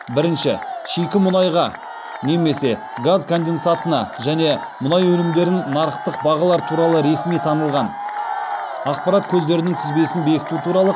бірінші шикі мұнайға немесе газ конденсатына және мұнай өнімдеріне нарықтық бағалар туралы ресми танылған ақпарат көздерінің тізбесін бекіту туралы